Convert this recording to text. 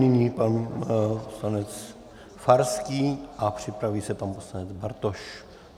Nyní pan poslanec Farský a připraví se pan poslanec Bartoš.